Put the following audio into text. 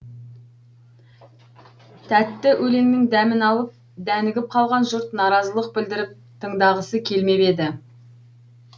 тәтті өлеңнің дәмін алып дәнігіп қалған жұрт наразылық білдіріп тыңдағысы келмеп еді